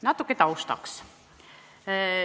Natuke taustaks.